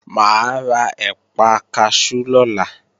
Mà á ra ẹ̀pà kaṣú lọ́la